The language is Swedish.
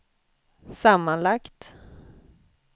sammanlagt